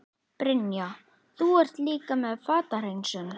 Brynja: Þú ert líka með fatahreinsun?